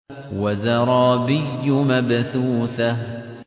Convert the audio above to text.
وَزَرَابِيُّ مَبْثُوثَةٌ